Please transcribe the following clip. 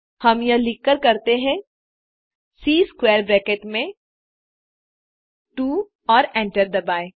हम यह लिखकर करते हैं सी स्क्वैर ब्रैकेट में 2 और एंटर दबाएँ